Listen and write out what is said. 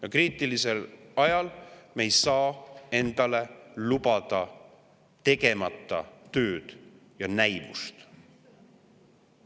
Aga kriitilisel ajal me ei saa endale lubada tegemata tööd ja näivust.